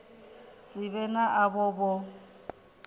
si vhe na avho vho